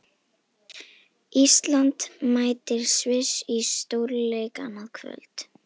Ísland mætir Sviss í stórleik annað kvöld.